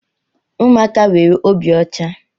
Ụmụaka nwere obi ọcha.